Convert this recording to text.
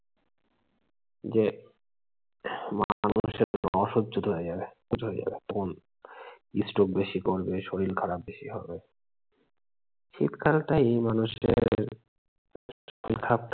যে মানুষ একদম অসহ্যত হয়ে যাবে তখন stroke বেশি করবে, শরীর খারাপ বেশি করবে। সেখানটায় মানুষের যেমন বৃষ্টি বেশি পড়লে শরীর খারাপ করে শিক্ষাটাই মানুষের শিখায়